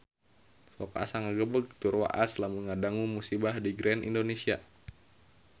Sok asa ngagebeg tur waas lamun ngadangu musibah di Grand Indonesia